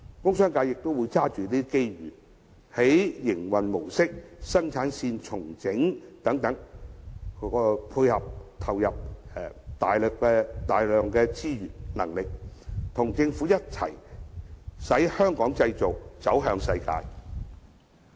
工商界也會抓緊這些機遇，在營運模式、生產線重整等方面，投入大量資源和能力，與政府一起令"香港製造"這招牌走向世界。